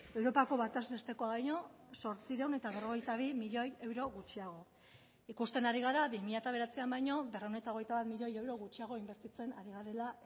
europako bataz bestekoa baino zortziehun eta berrogeita bi milioi euro gutxiago ikusten ari gara bi mila bederatzian baino berrehun eta hogeita bat milioi euro gutxiago inbertitzen ari garela